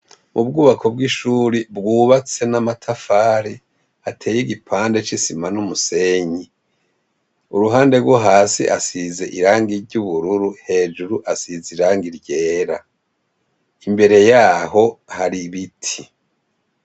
Ubwubako bw'ishuri bwubatse n'amatafare ateye igipande c'isima n'umusenyi uruhande rwo hasi asize irangi ry'ubururu hejuru asize irangi ryera, imbere yaho hari ibiti.